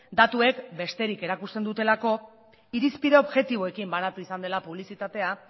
datuek besterik erakusten dutelako irizpide objektiboekin banatu izan dela publizitatea